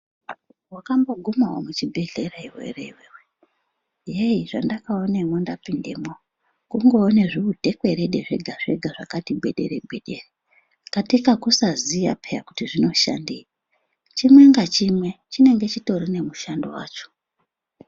Wakambogumawo muchibhedhlera here iwewe heyi zvandakaonemwo ndapindemwo kungoone zviutekwerede zvega zvega zvakati gwedere gwedere katika kusaziya peya kuti zvinoshandeyi chimwe ngachimwe chinonga chitori nemushando wacho.